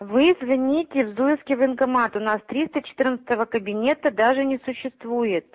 вы извините зуевский военкомат у нас триста четырнадцатого кабинета у нас даже не существует